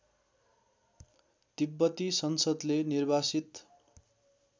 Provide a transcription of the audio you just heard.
तिब्बती संसदले निर्वासित